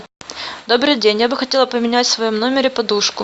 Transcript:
добрый день я бы хотела поменять в своем номере подушку